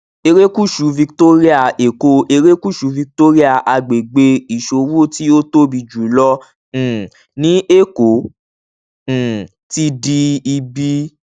erékùṣù victoria èkó erékùṣù victoria àgbègbè iṣowo ti o tobi julọ um ni èkó um ti di ibi